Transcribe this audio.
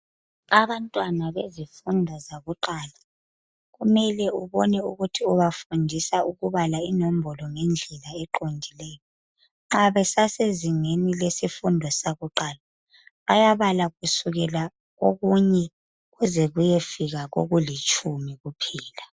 Abantwana bezifundo zakuqala kumele ubone ukuthi ubafundisa ukubala inombolo ngendlela eqondileyo. Abasezingeni lesifundo sakuqala, bayabala kusukela kokunye kuze kuyefika kokulitshumi kuphela.